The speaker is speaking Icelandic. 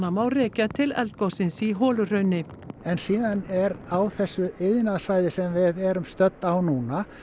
má rekja til eldgossins í Holuhrauni en síðan er á þessu iðnaðarsvæði sem við erum stödd á núna